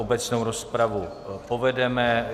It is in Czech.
Obecnou rozpravu povedeme.